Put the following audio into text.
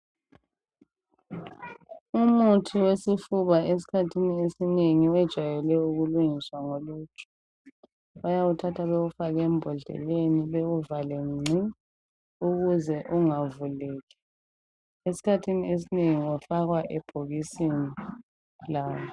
Umuthi wesifuba esikhathini esinengi ujayele ukulungiswa ngoluju bayawuthatha bawufake embhodlela besekuvalwa ngci ukuze ungavuleki. Esikhathini esinengi ufakwa ebhokisini lawo